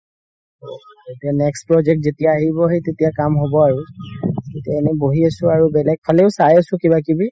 এতিয়া next project যেতিয়া আহিব সেই তেতিয়া হে কাম হ'ব আৰু এনে বহি আছো আৰু বেলেগ ফালেও চাই আছো কিবা কিবি